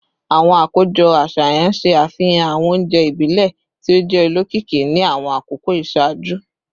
Awọn akojọ aṣayan ṣe afihan awọn ounjẹ ibile ti o jẹ olokiki ni awọn akoko iṣaaju